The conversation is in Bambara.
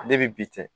Ale ni bi cɛ